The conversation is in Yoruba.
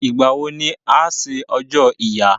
Ìgbà wo ni a ṣe ọjọ́ ìyá?